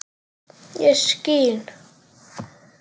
ég skín